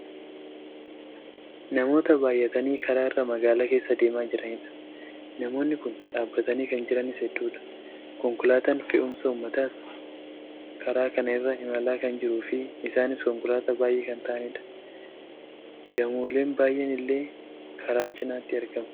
namoota bayyatanii karaa irra magaalaa keessa deemaa jiranidha. namoonni kun dhaabbatanii kan jiranis hedduudha. konkolaataan fe'umsa uummataas karaa kana irra imalaa kan jiruufi isaanis konkolaataa baayyee kan ta'anidha. gamooleen baayyeen illee karaa cinaatti argamu.